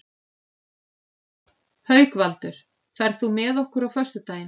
Haukvaldur, ferð þú með okkur á föstudaginn?